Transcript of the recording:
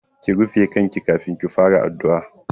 Ki rufe kanki kafin ki fara addu'a!